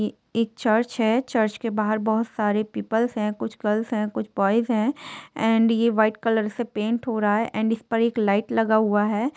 ये एक चर्च हैं चर्च के बाहर बहुत सारे पीपल्स कुछ गर्ल्स हैं कुछ बोईस हैं एंड ये वाईट कलर से पेंट हो रहा हैं एंड इस पर एक लाईट लगा हुआ हैं।